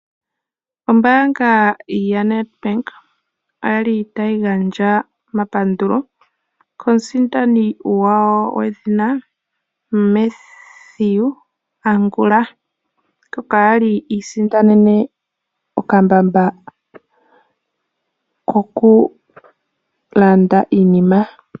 Ombaanga yaNedbank oya li tayi gandja omapandulo ,komusindani gwawo Mathew Angul, ngoka a li i isindanene okambamba koku landa iinima.